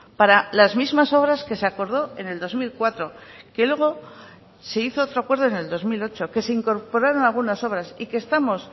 para las mismas obras que se acordó en el dos mil cuatro que luego se hizo otro acuerdo en el dos mil ocho que se incorporaron algunas obras y que estamos